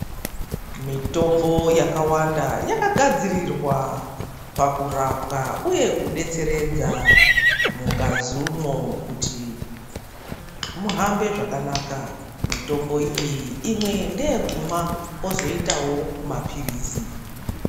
Mitombo yakawanda yakagadzirirwa pakurapa uye kubetseredza mungazi umwo kuti muhambe zvakanaka. Mitombo iyi imwe ndeyekumwa kozoitavo maphirizi.